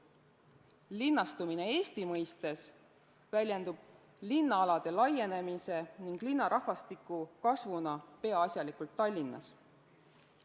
Linnastumine Eesti mõistes väljendub linnaalade laienemise ning linnarahvastiku kasvuna peaasjalikult Tallinnas.